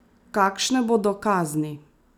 Kakšne bodo kazni?